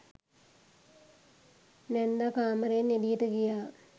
නැන්දා කාමරයෙන් එළියට ගියා.